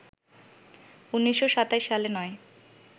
১৯২৭ সালে নয়